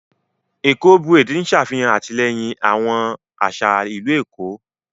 Éko braid n ṣe afihan atilẹyin awón aṣa ilu Eko.